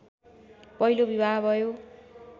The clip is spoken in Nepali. पहिलो बिवाह भयो